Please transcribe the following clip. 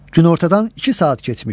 Günortadan iki saat keçmişdi.